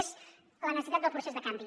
és la necessitat del procés de canvi